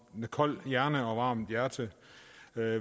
med kold hjerne og varmt hjerte